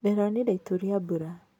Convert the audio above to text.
Ndĩronire itu rĩa mbura.